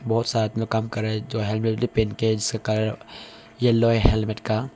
बहुत साथ में काम कर रहे जो हेलमेट भी पहन के हैं जिसका कलर येलो है हेलमेट का।